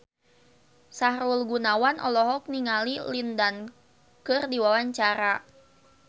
Sahrul Gunawan olohok ningali Lin Dan keur diwawancara